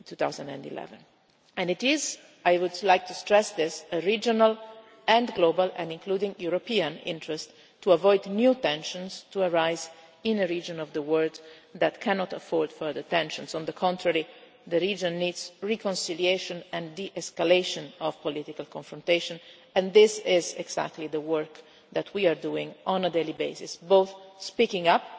2011. It is and I would like to stress this in regional and global, including European, interests to avoid new tensions arising in a region of the world that cannot afford further tensions. On the contrary, the region needs reconciliation and de escalation of political confrontation and this is exactly the work that we doing on a daily basis, both speaking